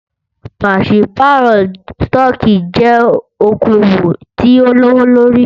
Pàṣípàrọ̀ stọọkí jẹ́ okoòwò tí o lówó lórí.